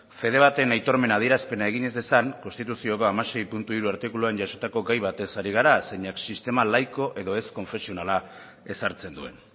fede baten aitormen adierazpena egin ez dezan konstituzioko hamasei puntu hiru artikuluan jasotako gai batez ari gara zeinek sistema laiko edo ez konfesionala ezartzen duen